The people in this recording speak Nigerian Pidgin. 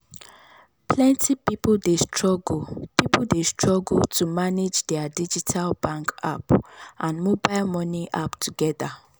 plenty people dey struggle people dey struggle to manage their digital bank app and mobile money app together.